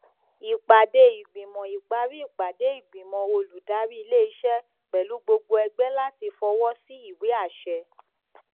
ìpàdé ìgbìmọ ìparí ìpàdé ìgbìmọ oludárí iléiṣẹ pẹlú gbogbo ẹgbẹ láti fọwọ sí ìwé àṣẹ